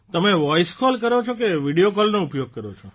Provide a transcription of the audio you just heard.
તમે voice call કરો છો કે વીડીયો કોલનો ઉપયોગ કરો છો